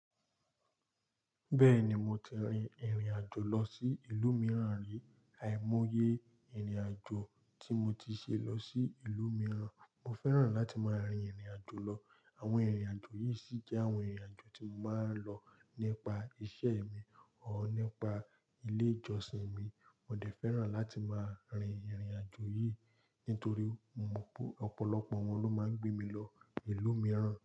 Bẹ́ẹ̀ni, mo ti rin ìrìn-àjò lọ sí ìlú mìíràn rí. Àìmọye ìrìn-àjò tí mo ti ṣe lọ sí ìlú mìíràn, mo fẹ́ràn láti máa rin ìrìn-àjò lọ. Àwọn ìrìn-àjò yìí sì jẹ́ àwọn ìrìn-àjò tí mo máa ń lọ nípa iṣẹ́ or nípa ilé-ìjọsìn mi. Mo dẹ̀ fẹ́ràn láti máa rin ìrìn-àjò yìí nítorí mo mọ̀ pé ọ̀pọ̀lọpọ̀ wọn ló máa ń gbé mi lọ ìlú mìíràn.